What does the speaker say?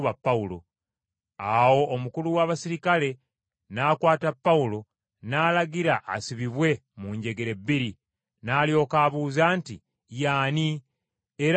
Awo omukulu w’abaserikale n’akwata Pawulo n’alagira asibibwe mu njegere bbiri, n’alyoka abuuza nti, “Y’ani, era akoze ki?”